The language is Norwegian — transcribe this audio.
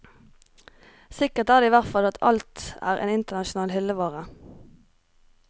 Sikkert er det i hvert fall at alt er internasjonal hyllevare.